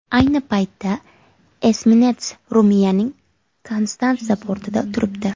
Ayni paytda esminets Ruminiyaning Konstansa portida turibdi.